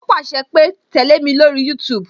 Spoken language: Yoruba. O pàṣẹ pé "tẹle mi lórí YouTube